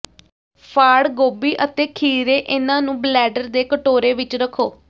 ਫਾੜ ਗੋਭੀ ਅਤੇ ਖੀਰੇ ਇਨ੍ਹਾਂ ਨੂੰ ਬਲੈਡਰ ਦੇ ਕਟੋਰੇ ਵਿੱਚ ਰੱਖੋ